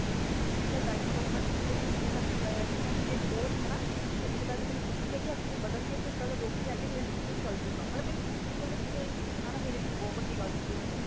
she is demoand ਇਹ ਮੇਰੇ school ਦਾ ਹੀਰਾ ਆ ਜੇ ਮੈਂ ਇਹਨੂੰ ਖੋ ਰਹੀ ਆ ਇਸ ਗੱਲ ਦੀ ਖੁਸ਼ੀ ਆ ਕਿ ਅੱਗੇ ਵਧਣ ਗਏ ਇਕ ਗੱਲ ਰੁਕ ਦੀ ਆ ਕਿ ਇਹ ਮੇਰੇ ਸਕੂਲ ਤੋਂ ਚਲ ਜੇ ਗਏ ਇਹ ਗੱਲ ਸੁਣਨਾ ਮੇਰੀ ਲਈ ਬਹੁਤ ਵੱਡੀ ਚੀਜ਼ ਸੀ ਓਦੋ